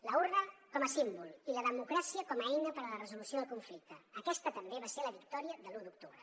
l’urna com a símbol i la democràcia com a eina per a la resolució del conflicte aquesta també va ser la victòria de l’u d’octubre